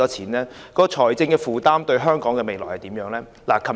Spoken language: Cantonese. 該計劃的財政負擔對香港未來有何影響？